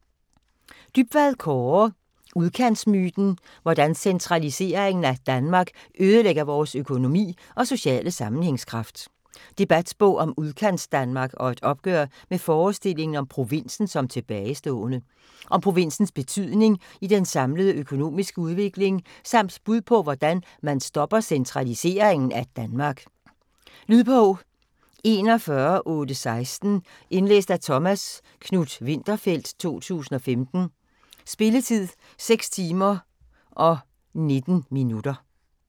Dybvad, Kaare: Udkantsmyten: hvordan centraliseringen af Danmark ødelægger vores økonomi og sociale sammenhængskraft Debatbog om udkantsdanmark og et opgør med forestillingen om provinsen som tilbagestående. Om provinsens betydning i den samlede økonomiske udvikling, samt bud på hvordan man stopper centraliseringen af Danmark. Lydbog 41816 Indlæst af Thomas Knuth-Winterfeldt, 2015. Spilletid: 6 timer, 19 minutter.